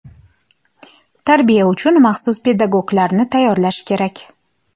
Tarbiya uchun maxsus pedagoglarni tayyorlash kerak.